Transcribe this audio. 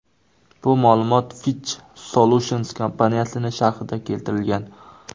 Bu ma’lumot Fitch Solutions kompaniyasining sharhida keltirilgan.